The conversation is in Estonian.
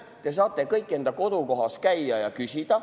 Te saate kõik enda kodukohas käia ja küsida.